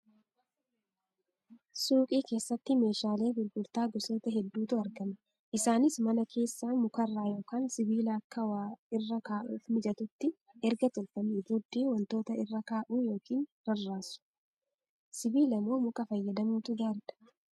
Suuqii keessatti meeshaalee gurgurtaa gosoota hedduutu argama. Isaanis mana keessa mukarra yookaan sibiila Akka waa irra kaa'uuf mijatutti erga tolfamee booddee wantoota irra kaa'u yookiin rarraasu. Sibiila moo muka fayyadamuutu gaariidha?